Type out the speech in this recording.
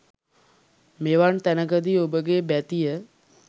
මෙවන් තැනකදී ඔබගේ බැතිය